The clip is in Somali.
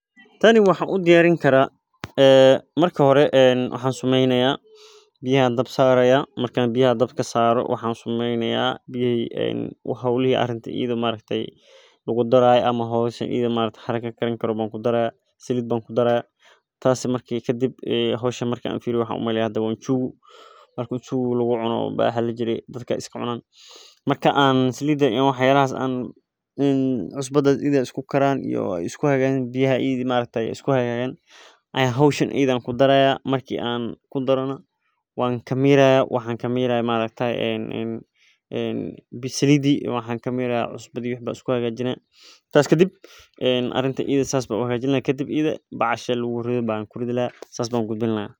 Tani waxaan ku arki haayo waxaa waye sida loo isticmaalo cunooyinka ufican tahay wadnaha iyo kansarka qaarkood masdulaagi sido kale aad iyo aad ayeey muhiim utahay bulshada sababta ah waxaan niigu tusaaya dir kala duban marka adeegyaha booliska talaabo muhiim utahay bulshada sababta oo ah waxeey ledahay faaidoyin badan oo somaliyeed ayaa laga helaa.